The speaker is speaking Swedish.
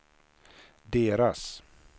deras